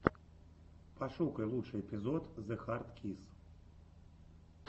пошукай лучший эпизод зэхардкисс